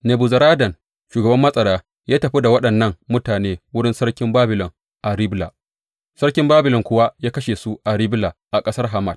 Nebuzaradan shugaban matsara ya tafi da waɗannan mutane wurin Sarkin Babilon a Ribla, Sarkin Babilon kuwa ya kashe su a Ribla a ƙasar Hamat.